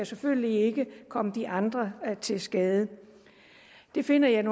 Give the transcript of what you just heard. selvfølgelig ikke komme de andre til skade det finder jeg